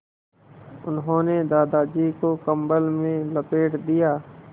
उन्होंने दादाजी को कम्बल में लपेट दिया